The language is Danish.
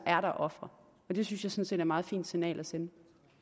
er der ofre og det synes jeg meget fint signal at sende